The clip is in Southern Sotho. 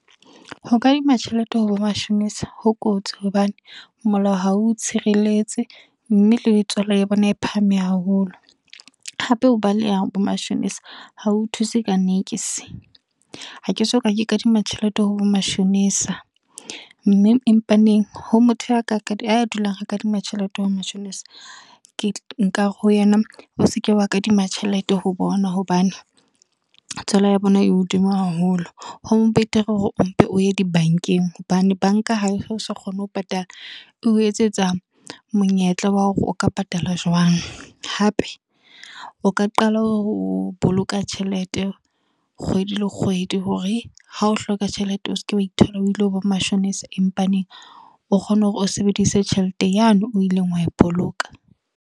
Ho kadima tjhelete ho bo mashonisa, ho kotsi. Hobane molao ha o tshireletse. Mme le tswalo ya bona e phahame haholo. Hape ho baleya bo mashonisa, hao thuse ka niks. Ha ke soka ke kadima tjhelete ho bo mashonisa. Mme empa neng, ho motho a ka dulang ho kadima tjhelete ho mashonisa nkare ho yena, o seke wa kadima tjhelete ho bona hobane tswala ya bona e hodimo haholo. Ho betere hore o mpe o ye di bankeng, hobane banka ha o se kgone ho patala, o etsetsa monyetla wa hore o ka patala jwang. Hape o ka qala ho boloka tjhelete, kgwedi le kgwedi. Hore ha o hloka tjhelete, o seke wa ithola o ile ho bo mashonisa empa neng, o kgone hore o sebedise tjhelete yane o ileng wa e boloka.